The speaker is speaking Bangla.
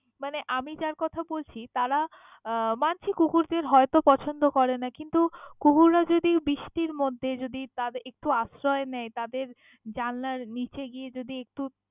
মানে আমি যার কথা বলছি তারা আহ মানছি কুকুরদের হয়ত পছন্দ করেনা কিন্তু কুকুররা যদি বৃষ্টির মধ্যে যদি তাদের একটু আশ্রয়ই নেয় তাদের জানলার নিচে গিয়ে যদি একটু।